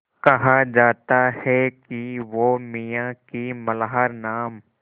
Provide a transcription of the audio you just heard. कहा जाता है कि वो मियाँ की मल्हार नाम